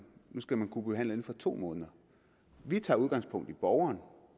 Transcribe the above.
nu inden for to måneder vi tager udgangspunkt i borgeren og